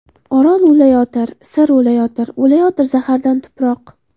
Orol o‘layotir, Sir o‘layotir, O‘layotir zahardan tuproq.